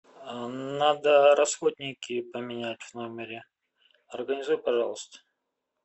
надо расходники поменять в номере организуй пожалуйста